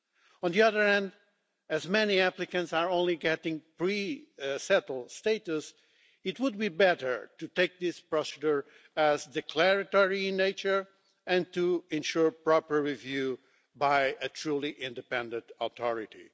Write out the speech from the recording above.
On the other hand, as many applicants are only getting pre settled status, it would be better to take this procedure as declaratory in nature and to ensure proper review by a truly independent authority.